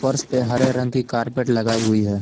फर्श पे हरे रंग की कारपेट लगाई हुई है।